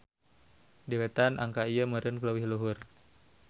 Di Wetan angka ieu meureun leuwih luhur.